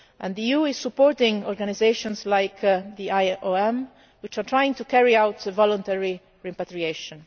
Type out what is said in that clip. Libya. The EU is supporting organisations like the IOM which are trying to carry out voluntary repatriation.